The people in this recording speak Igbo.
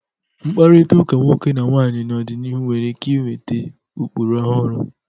Mkpakọrịta nwoke na nwaanyị n'ọdịnihu nwere ike iweta ụkpụrụ ọhụrụ.